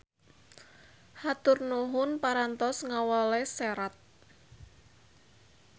Hatur nuhun parantos ngawales serat.